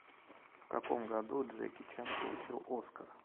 в каком году джеки чан получил оскар